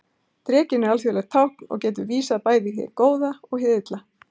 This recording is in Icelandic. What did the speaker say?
Drekinn er alþjóðlegt tákn og getur bæði vísað í hið góða og hið illa.